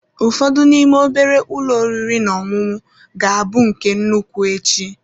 Ụfọdụ n'ime obere ụlọ oriri na ọṅụṅụ ga-abụ nke nnukwu echi.